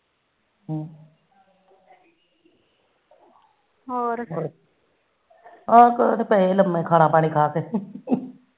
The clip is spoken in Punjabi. ਹੋਰ ਹਾ ਹੋਰ ਪਏ ਲੰਮੇ ਖਾਣਾ ਪਾਣੀ ਖਾ ਕੇ